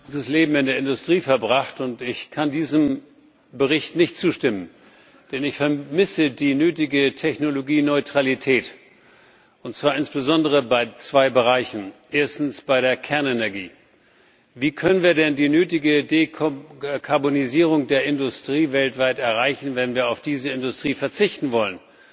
Frau Präsidentin! Ich habe dieses Leben in der Industrie verbracht, und ich kann diesem Bericht nicht zustimmen, denn ich vermisse die nötige Technologieneutralität, und zwar insbesondere bei zwei Bereichen. Erstens bei der Kernenergie Wie können wir denn die nötige Dekarbonisierung der Industrie weltweit erreichen, wenn wir auf diese Industrie verzichten wollen?